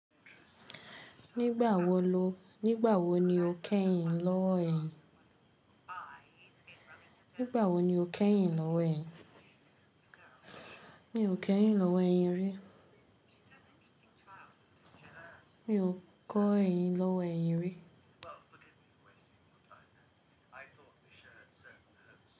Nígbà wo lo, nígbà wo ni o kẹ́yìn lọ́ ẹ̀yin? Nígbà wo ni o kẹ́yìn lọ́wó ẹ̀yin? Mi ò kẹ́yìn lọ́wó ẹ̀yin rí. Mi ò kọ ẹyin lọ́ ẹ̀yin rí.